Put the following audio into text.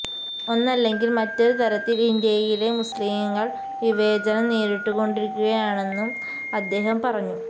ഒന്നല്ലെങ്കിൽ മറ്റൊരു തരത്തിൽ ഇന്ത്യയിലെ മുസ്ലിംകൾ വിവേചനം നേരിട്ടു കൊണ്ടിരിക്കുകയാണെന്നും അദ്ദേഹം പറഞ്ഞു